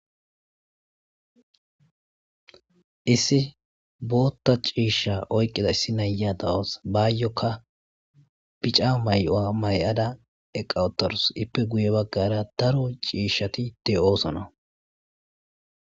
Issi bootta ciishsha oykida issi na'iya de'awus bayokka biicca mayuwa mayada eqqa uuttadus iippe guye baggara daro ciishshatti de'iossonna